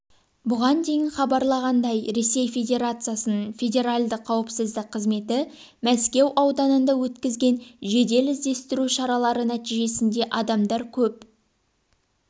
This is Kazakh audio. бұған дейін хабарланғандай ресей федерациясының федеральды қауіпсіздік қызметі мәскеу ауданында өткізген жедел-іздестіру шаралары нәтижесінде адамдар көп